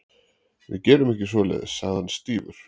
Við gerum ekki svoleiðis sagði hann stífur.